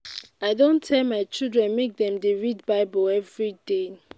i don tell my children make dem dey read bible everyday